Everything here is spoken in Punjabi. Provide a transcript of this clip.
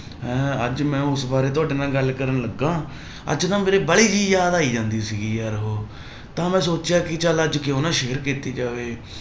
ਅਹ ਅੱਜ ਮੈਂ ਉਸ ਬਾਰੇ ਤੁਹਾਡੇ ਨਾਲ ਗੱਲ ਕਰਨ ਲੱਗਾ ਅੱਜ ਨਾ ਮੇਰੇ ਵਾਲੀ ਗੇਰੀ ਯਾਦ ਆਈ ਜਾਂਦੀ ਸੀਗੀ ਯਾਰ ਉਹ ਤਾਂ ਮੈਂ ਸੋਚਿਆ ਕਿ ਚੱਲ ਅੱਜ ਕਿਉਂ ਨਾ share ਕੀਤੀ ਜਾਵੇ